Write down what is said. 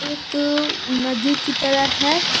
एक उ नदी की तरह है।